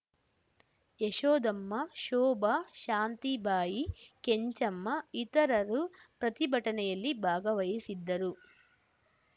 ಯಶೋಧಮ್ಮ ಶೋಭಾ ಶಾಂತಿಬಾಯಿ ಕೆಂಚಮ್ಮ ಇತರರು ಪ್ರತಿಭಟನೆಯಲ್ಲಿ ಭಾಗವಹಿಸಿದ್ದರು